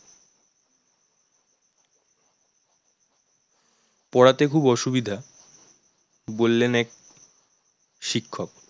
পড়াতে খুব অসুবিধা বললেন এক শিক্ষক